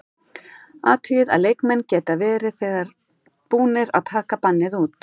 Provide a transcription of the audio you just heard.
Athugið að leikmenn geta verið þegar búnir að taka bannið út.